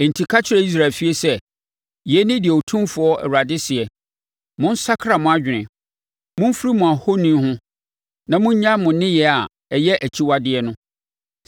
“Enti ka kyerɛ Israel efie sɛ, ‘Yei ne deɛ Otumfoɔ Awurade seɛ: Monsakra mo adwene. Momfiri mo ahoni ho na monnyae mo nneyɛeɛ a ɛyɛ akyiwadeɛ no!